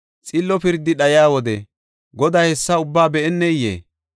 Xillo pirdi dhayiya wode Goday hessa ubbaa be7eneyee?